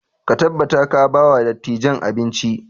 Ka tabbata ka ba wa dattijan abinci!